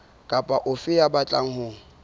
kapa ofe ya batlang ho